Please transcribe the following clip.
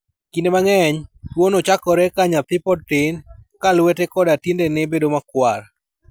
Kinde mang'eny, tuwono chakore ka nyathi pod tin, ka lwete koda tiendene bedo makwar.